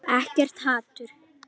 Ekkert hatur.